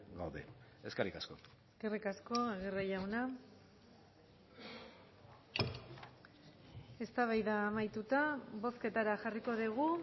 gaude eskerrik asko eskerrik asko aguirre jauna eztabaida amaituta bozketara jarriko dugu